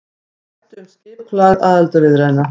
Ræddu um skipulag aðildarviðræðna